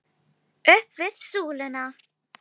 Upp við súluna!